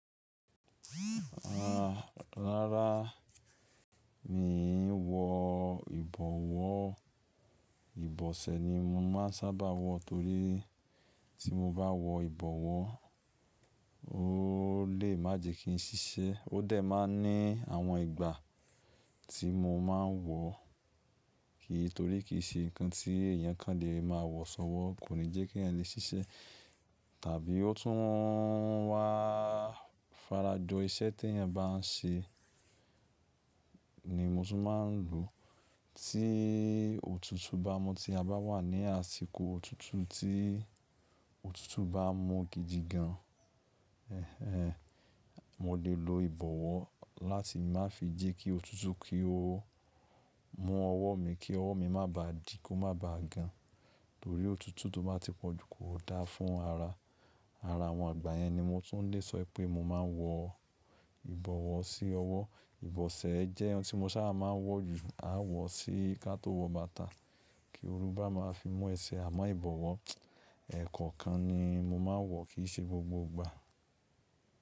Rárá, mi ò wọ ìbọ̀wọ́. Ìbọ̀sẹ̀ ni mo máa sábà wọ torí tí mo bá wọ ìbọ̀wọ́ ó lè má jẹ kí n ṣiṣẹ́. Ó dẹ̀ máa ń ní àwọn ìgbà tí mo máa ń wọ, kí torí kì í ṣe ǹkan tí èèyàn kan lè máa wọ sọ́wọ́, kò ní jẹ́ keẹyan le ṣiṣẹ́. Tàbí ó tún wá farajọ iṣẹ́ teẹyan bá n ṣe ni mo tún máa ń lo. Tí òtútù bá mú tí a bá wà ní àsìkò òtútù tí òtútù bá mú gidi gan, ẹh ẹh mo lè lo ìbọ̀wọ́ láti má fi jẹ́ kí òtútù kí ó mú ọwọ́ mi kí ọwọ́ mi má bà dí, kó má ba gan. Torí òtútù tó bá ti pọ̀jù kò da fún ara. Ara àwọn igbà yẹn ni mo tún lè sọ wipé mo máa ń wọ ìbọ̀wọ́ sí ọwọ́. Ìbọ̀sẹ̀ jẹ́ oun tí mo sábà máa ń wọ jù. A wọ̀ sí ká tó wọ bàtà kí olú bá máa fi mú ẹsẹ̀. Àmọ́ ìbọ̀wọ́ ẹ̀ẹ̀kọ̀kan ni mo máa ń wọ̀ kì í ṣe gbogbo gbà.